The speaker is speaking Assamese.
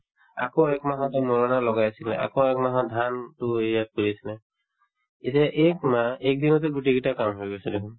আকৌ একমাহতে মৰণা লগাই আছিলে আকৌ একমাহত ধান এতিয়া এই শুনা একদিনতে গোটেই কেইটা কাম হৈ গৈছে দেখুন